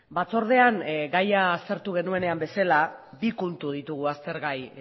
batzordean gaia aztertu genuenean bezala bi kontu ditugu aztergai